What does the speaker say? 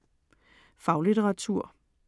Faglitteratur